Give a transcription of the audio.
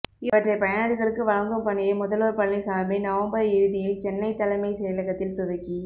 இவற்றை பயனாளிகளுக்கு வழங்கும் பணியை முதல்வர் பழனிசாமி நவம்பர் இறுதியில் சென்னை தலைமை செயலகத்தில் துவக்கி